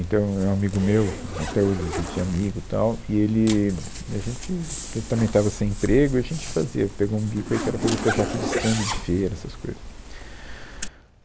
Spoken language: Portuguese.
Então, é um amigo meu, até hoje a gente é amigo tal, e ele, a gente, ele também estava sem emprego e a gente fazia, ele pegou um bico aí que era fazer projeto de estande de feira, essas coisas.